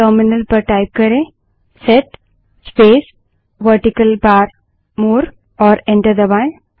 terminal पर type करें set space vertical bar more और एंटर दबायें